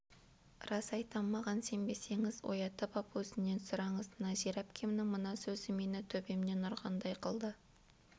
рас айтам маған сенбесеңіз оятып ап өзінен сұраңыз нәзира әпкемнің мына сөзі мені төбемнен ұрғандай қылды